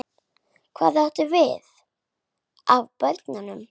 Hvað átt þú af börnum?